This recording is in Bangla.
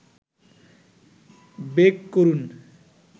বেক করুন